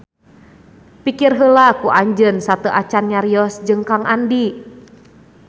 Pikir heula ku anjeun sateuacan nyarios jeung Kang Andi